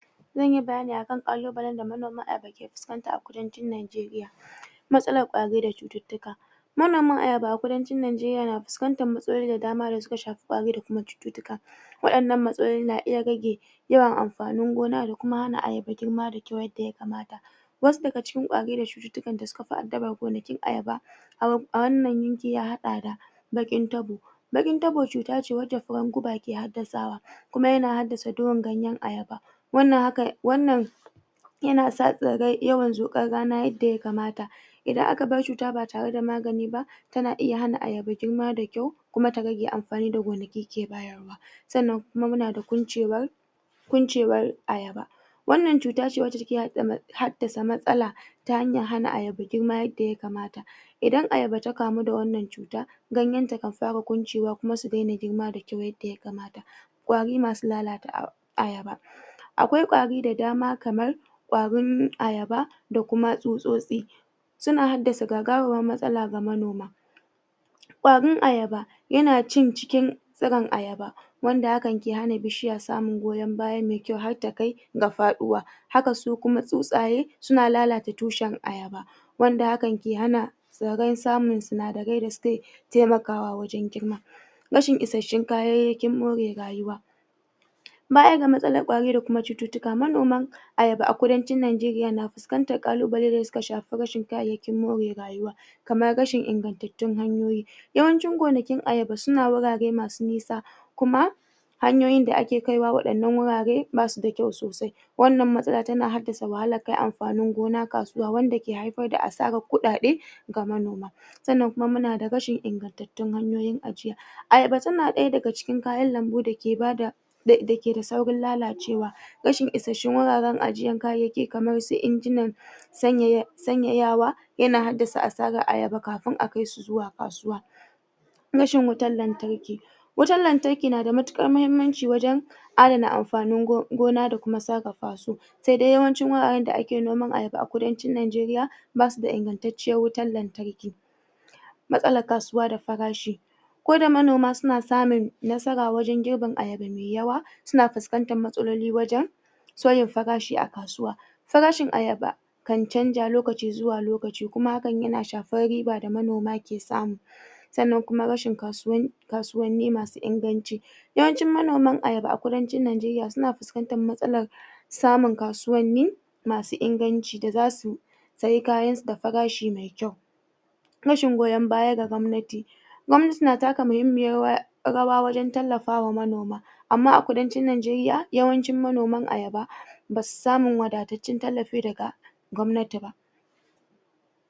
Zanyi bayani akan kallubalai da manoma ke faucanta a kudancin Najeriya matsalan kwari da cuttutuka manoman ayaba a kudancin Najeriya na fuscantan matsaloli da dama da suka shafi kwari da cuttutuka wadanan matsaloli na iya rage yawan amfanin gona da kuma hana ayaba girma da kyau yadda ya kamata wasu daga cikin kwari da cuttutuka da suka fi adaba gonakin ayaba a wannan yanke ya hada da Bakin tabo bakin tabo, cuta ce wace farin guba ke haddasawa kuma yana hadasa doyan ayaba wannan, haka, wannan yana sa tsire yawan yadda ya kamata idan aka bar cuta ba tare da magani ba tana iya hana ayaba girma da kyau kuma ta rage amfani da gonakin ke bayar wa sannan kuma muna da kuncewa kuncewar ayaba wannan cuta ce wadda ta ke haddasa matsala ta hanyar hana ayaba girma yadda ya kamata idan ayaba ta kamu da wannan cuta ganyen ta kan fara kuncewa kuma su dena girma da kyau yadda ya kamata kwari masu lalata ayaba akwai kwari da dama kamar kwarin ayaba da kuma tsutsosi suna haddasa gagawan matsala ga manoma kwarin ayaba yana cin cikin sugan ayaba wanda akan ki hana bishiya samun goyon baya mai kyau toh har ta gafaduwa haka su kuma tsutsaye suna lalata tushen ayaba wanda akan ki hana samun sinadari da suke taimakawa wajen girma rashin ishashen kayyayakin more rayuwa bayan da matsalan kwari da cuttutuka, manoman ayaba a kudancin Najeriya na fuscantan kallubalai da suka shafi rashen kayyayakin more rayuwa kaman rashen ingantutun hanyoyi Yawancin gonakin ayaba suna wurare masu nesa kuma hanyoyin da ake kaiwa waddanan wurare, ba su da kyau sosai wannan matsala tana haddasa wahalar kai amfanin gona kasuwa wadda ke haifar da asaran kudade ga manoma sannan kuma muna da n ingantatun hanyoyin ajiya Ayaba tana daya daga cikin kayan lambu da ke bada da ke da saurin lalacewa rashin isashen wuraren ajiyan kayyayaki kaman su injinan sanye sanye yawa yana haddasa ayaba kafin a kai su zuwa kasuwa rashin wutan lantarki wutan lantarki na da matukar mahimmanci wajen adana amfanin gona da kuma tsarafa su sai dai yawancin wuraren da ake noman ayaba akwai kudancin Najeriya basu da inganttacen wutan lantarki matsalan kasuwa da farashi ko da manoma suna samun nasara wajen jeben ayaba mai yawa suna fuscantan matsaloli wajen sauye farashi a kasuwa farashin ayaba kan canja lokaci zuwa lokaci, kuman hakan na shafan riba da manoma ke samu sannan rashin kasuwan neman masu inganci yawancin manoman ayaba a kudancin Najeriya suna fuscantan matsalar samun kasuwan masu inganci da za su saye kayan su da farashi me kyau rashin goyon baya da gwamnati gwamnati na taka muhimmiyar rawa wajen tallafa wa manoma ama a kudancin Najeriya, yawancin manoman ayaba basu samu wadattacen tallafi daga